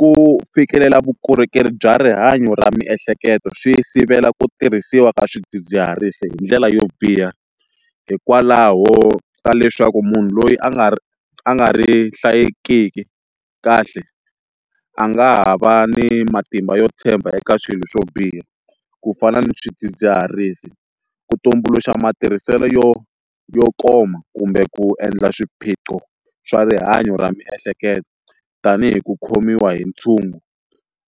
Ku fikelela vukorhokeri bya rihanyo ra miehleketo swi sivela ku tirhisiwa ka swidzidziharisi hi ndlela yo biha hikwalaho ka leswaku munhu loyi a nga a nga ri hlayekiki kahle a nga ha va ni matimba yo tshemba eka swilo swo biha ku fana na swidzidziharisi ku tumbuluxa matirhiselo yo yo koma kumbe ku endla swiphiqo swa rihanyo ra miehleketo tanihi ku khomiwa hi ntshungu